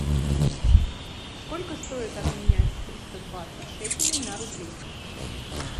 сколько стоит обменять триста двадцать шекелей на рубли